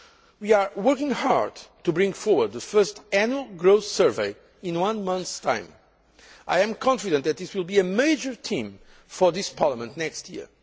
We are working hard to bring forward the first Annual Growth Survey in one month's time. I am confident that this will be a major theme for this Parliament next year.